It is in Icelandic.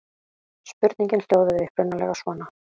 Spurningin hljóðaði upprunalega svona: